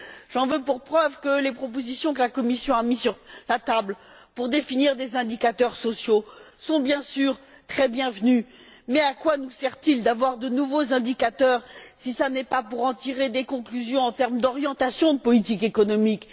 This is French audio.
J'en veux pour preuve que les propositions que la Commission a mises sur la table pour définir des indicateurs sociaux sont bien sûr très appréciables, mais à quoi cela nous sert il d'avoir de nouveaux indicateurs si ce n'est pas pour en tirer des conclusions en termes d'orientation de politique économique?